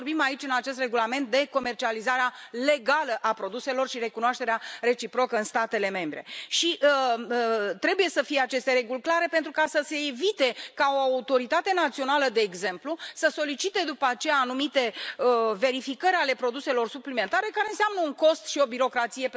Noi vorbim aici, în acest regulament, de comercializarea legală a produselor și recunoașterea reciprocă în statele membre și trebuie să fie aceste reguli clare pentru a se evita ca o autoritate națională, de exemplu, să solicite după aceea anumite verificări ale produselor suplimentare care înseamnă un cost și o birocrație,